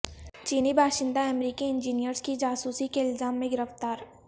چینی باشندہ امریکی انجینئرز کی جاسوسی کے الزام میں گرفتار